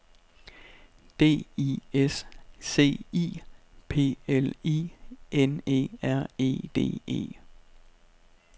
D I S C I P L I N E R E D E